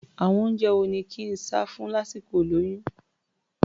Àwọn oúnjẹ wo ni kí n sá fún lásìkol ìlóyún?